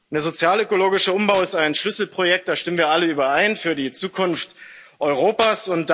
Der sozial ökologische Umbau ist ein Schlüsselprojekt da stimmen wir alle überein für die Zukunft Europas.